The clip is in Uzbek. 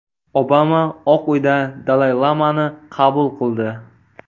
Obama Oq Uyda Dalay-lamani qabul qildi.